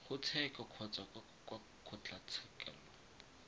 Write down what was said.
ga tsheko kgotsa kwa kgotlatshekelo